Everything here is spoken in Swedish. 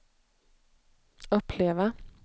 uppleva